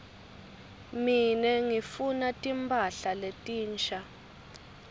mine ngifuna timphahla letinsha